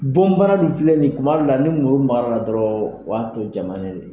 Bɔnbana dun filɛ ni kuma dɔ la ni muru makar'a la dɔrɔn, o y'a tɔ jamalen de